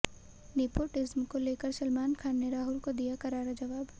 nepotism को लेकर सलमान खान ने राहुल को दिया करारा जवाब